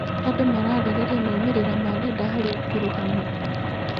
Andũ mararĩrĩria maumĩrĩra ma nenda harĩ ũkuruhanu.